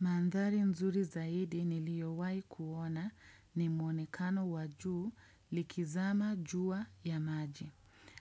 Mandhari nzuri zaidi niliyowahi kuona ni mwonekano wa jua likizama juu ya maji.